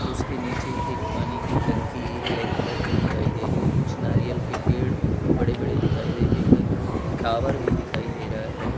उसके नीचे एक पानी की टंकी ब्लैक कलर की दिखाई दे रहे। कुछ नारियल के पेड़ बड़े-बड़े दिखाई दे। एक टावर भी दिखाई दे रहा है।